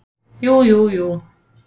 Jú, jú, jú.